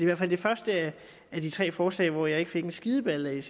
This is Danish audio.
hvert fald det første af de tre forslag hvor jeg ikke fik en skideballe